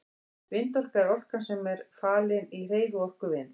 Vindorka er orkan sem falin er í hreyfiorku vinds.